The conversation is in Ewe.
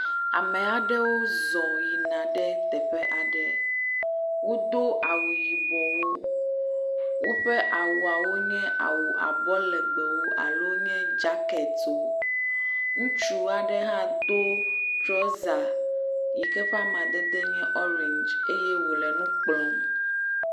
Ame aɖewo zɔ yina ɖe teƒe aɖe, wodo awu yibɔwo woƒe awuawo nye awu abɔ legbewo alo nye jacketwo, Ŋutsu aɖe hã do trɔza yi ke ƒe amadede nye orange eye wòle nu kplɔm.